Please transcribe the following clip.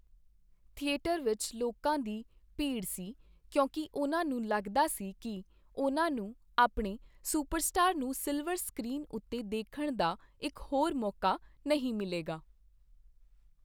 Theatre ਵਿੱਚ ਲੋਕਾਂ ਦੀ ਭੀੜ ਸੀ ਕਿਉਂਕਿ ਉਨ੍ਹਾਂ ਨੂੰ ਲੱਗਦਾ ਸੀ ਕਿ ਉਨ੍ਹਾਂ ਨੂੰ ਆਪਣੇ ਸੁਪਰਸਟਾਰ ਨੂੰ ਸਿਲਵਰ ਸਕ੍ਰੀਨ ਉੱਤੇ ਦੇਖਣ ਦਾ ਇੱਕ ਹੋਰ ਮੌਕਾ ਨਹੀਂ ਮਿਲੇਗਾ।